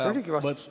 See oligi vastus.